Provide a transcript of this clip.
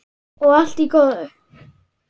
Og allt í góðu.